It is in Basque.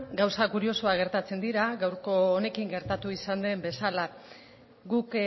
gauza kuriosoak gertatzen dira gaurko honekin gertatu izan den bezala guk